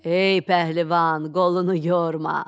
Ey pəhlivan, qolunu yorma.